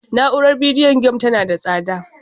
Na'urar bidiyo game tana da tsada